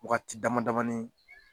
Wagati dama damanin